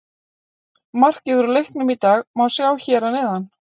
Markið úr leiknum í dag má sjá hér að neðan